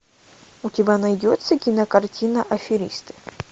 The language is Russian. у тебя найдется кинокартина аферисты